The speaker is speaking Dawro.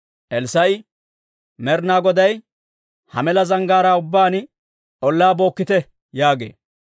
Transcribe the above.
Elssaa'i, «Med'ina Goday, ‹Ha mela zanggaaraa ubbaan ollaa bookkite› yaagee.